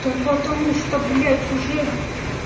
та потому что блядь уже